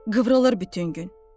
Qıvrılır bütün gün.